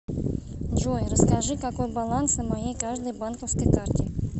джой расскажи какой баланс на моей каждой банковской карте